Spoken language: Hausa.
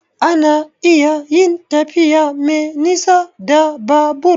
A na iya yin tafiya me nisa da Babur